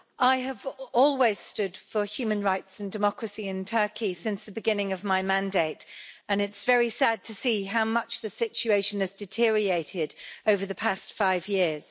Mr President, I have always stood for human rights and democracy in Turkey since the beginning of my mandate and it's very sad to see how much the situation has deteriorated over the past five years.